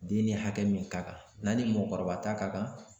Den ni hakɛ min ka kan n'a ni mɔgɔkɔrɔba ta ka kan.